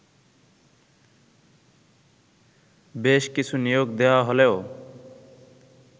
বেশ কিছু নিয়োগ দেয়া হলেও